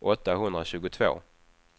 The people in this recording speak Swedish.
åttahundratjugotvå